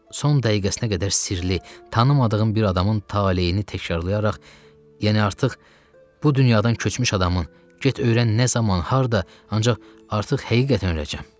Son dəqiqəsinə qədər sirli, tanımadığım bir adamın taleyini təkrarlayaraq, yəni artıq bu dünyadan köçmüş adamın get öyrən nə zaman, harda, ancaq artıq həqiqətən öləcəm.